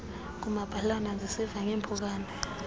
ngumabhalana ndisiva ngeeempukane